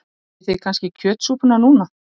Viljið þið kannski kjötsúpuna núna?